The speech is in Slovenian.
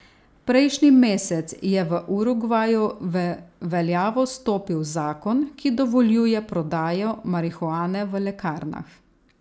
Prejšnji mesec je v Urugvaju v veljavo stopil zakon, ki dovoljuje prodajo marihuane v lekarnah.